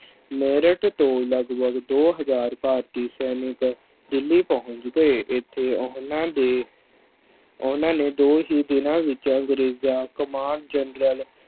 ਮੇਰਠ ਤੋਂ ਲਗਪਗ ਦੋ ਹਜ਼ਾਰ ਭਾਰਤੀ ਸੈਨਿਕ ਦਿੱਲੀ ਪਹੁੰਚ ਗਏ ਇੱਥੇ ਉਹਨਾਂ ਦੇ, ਉਹਨਾਂ ਨੇ ਦੋ ਹੀ ਦਿਨਾਂ ਵਿੱਚ ਅੰਗਰੇਜ਼ਾਂ ਕਮਾਨ ਜਨਰਲ